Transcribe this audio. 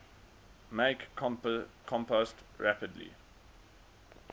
make compost rapidly